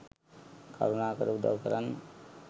කරුණාකර උදවු කරන්න.